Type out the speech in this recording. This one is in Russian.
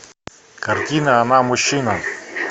картина она мужчина